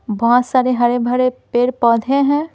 बहुत सारे हरे भरे पेड़ पौधे हैं।